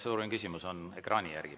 Ekraani järgi on protseduuriline küsimus.